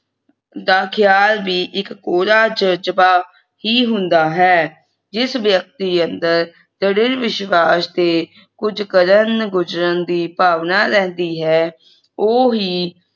ਦਾ ਖਿਆਲ ਵੀ ਇਕ ਕੋਰਾ ਜਜਬਾ ਹੀ ਹੁੰਦਾ ਹੈ। ਜਿਸ ਵਿਅਕਤੀ ਅੰਦਰ ਦ੍ਰਿੜ੍ਹ ਵਿਸ਼ਵਾਸ ਤੇ ਕੁਝ ਕਰਨ ਗੁਜਰਨ ਦੀ ਭਾਵਨਾ ਰਹਿੰਦੀ ਹੈ ਉਹ ਹੀ